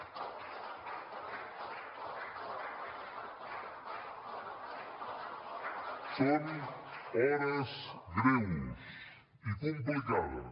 són hores greus i complicades